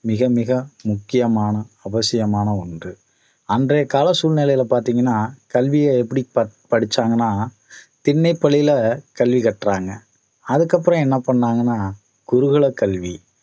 மிக மிக முக்கியமான அவசியமான ஒண்று அன்றைய கால சூழ்நிலையில பார்த்தீங்கன்னா கல்வியை எப்படி ப~ படிச்சாங்கன்னா திண்ணை பள்ளியில கல்வி கற்றாங்க அதுக்கு அப்புறம் என்ன பண்ணாங்கன்னா குருகுல கல்வி